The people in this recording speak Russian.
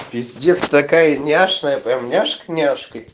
пиздец такая няшная прямо няшка няшка